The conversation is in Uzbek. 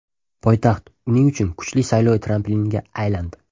Poytaxt uning uchun kuchli saylov trampiliniga aylandi.